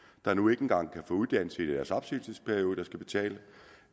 der nu ikke engang kan få uddannelse i deres opsigelsesperiode der skal betale